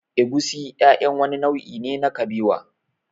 Egusi ƴaƴan wani nau'i ne na kabewa